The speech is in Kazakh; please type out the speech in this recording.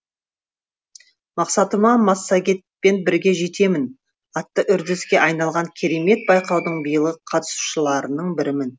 мақсатыма массагетпен бірге жетемін атты үрдіске айналған керемет байқаудың биылғы қатысушыларының бірімін